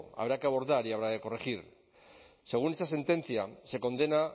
habrá que abordar y habrá que corregir según dicha sentencia se condena